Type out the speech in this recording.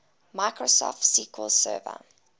microsoft sql server